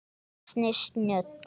Ansi snjöll!